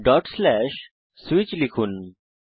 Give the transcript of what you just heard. switch লিখুন